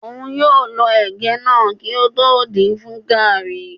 Óun yóò lọ ẹ̀gẹ́ náà kótó din fún gàrrí.